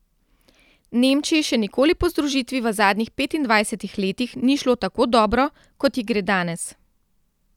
Nemčiji še nikoli po združitvi v zadnjih petindvajsetih letih ni šlo tako dobro, kot ji gre danes.